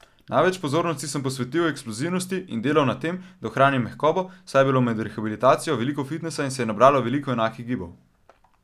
Največ pozornosti sem posvetil eksplozivnosti in delal na tem, da ohranim mehkobo, saj je bilo med rehabilitacijo res veliko fitnesa in se je nabralo veliko enakih gibov.